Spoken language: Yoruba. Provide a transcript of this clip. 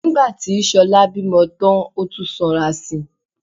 Nígbà tí Ṣọlá bímọ tán ó tún sanra si